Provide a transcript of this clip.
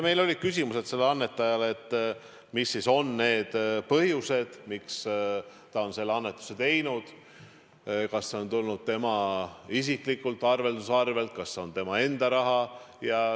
Meil olid küsimused sellele annetajale – mis siis on need põhjused, miks ta on annetuse teinud, kas see on tulnud tema isiklikult arvelduskontolt, kas see on tema enda raha jne.